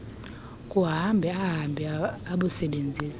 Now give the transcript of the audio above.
kuhamba ahambe abusebenzise